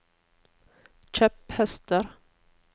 kjepphester